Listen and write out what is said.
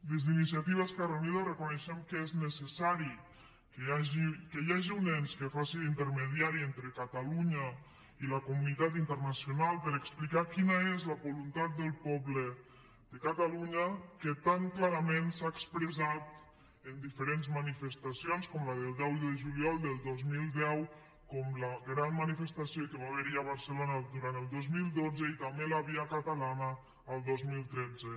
des d’iniciativa esquerra unida reconeixem que és necessari que hi hagi un ens que faci d’intermediari entre catalunya i la comunitat internacional per explicar quina és la voluntat del poble de catalunya que tan clarament s’ha expressat en diferents manifestacions com la del deu de juliol del dos mil deu com la gran manifestació que va haver hi a barcelona durant el dos mil dotze i també la via catalana el dos mil tretze